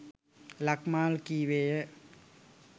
ලක්මාල් කීවේය.